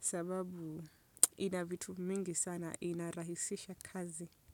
Sababu ina vitu mingi sana inarahisisha kazi.